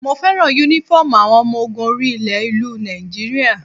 Mo fẹ́ràn Únífọ́ọ̀mù àwọn ọmọ ogun orí ilẹ̀ ìlú Nigeria